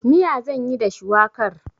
Miya zan yi da shuwakar.